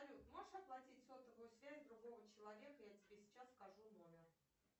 салют можешь оплатить сотовую связь другого человека я тебе сейчас скажу номер